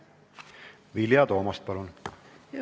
Vilja Toomast, palun!